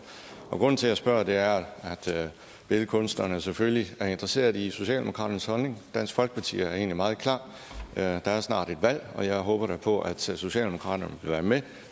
grunden til at jeg spørger er at billedkunstnerne selvfølgelig er interesserede i socialdemokraternes holdning dansk folkeparti er egentlig meget klar der er snart et valg og jeg håber da på at socialdemokraterne vil være med